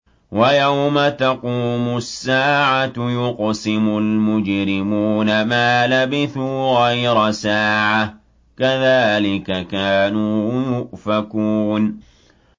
وَيَوْمَ تَقُومُ السَّاعَةُ يُقْسِمُ الْمُجْرِمُونَ مَا لَبِثُوا غَيْرَ سَاعَةٍ ۚ كَذَٰلِكَ كَانُوا يُؤْفَكُونَ